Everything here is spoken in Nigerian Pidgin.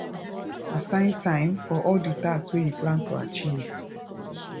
assign time for all di task wey you plan to achieve